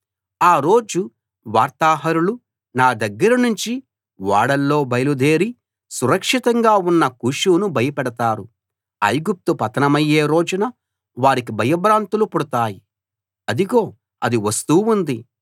ఆ రోజు వార్తాహరులు నా దగ్గర నుంచి ఓడల్లో బయలుదేరి సురక్షితంగా ఉన్న కూషును భయపెడతారు ఐగుప్తు పతనమయ్యే రోజున వారికి భయభ్రాంతులు పుడతాయి అదిగో అది వస్తూ ఉంది